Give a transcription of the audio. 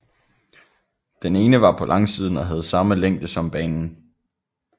Den ene var på langsiden og havde samme længde som banen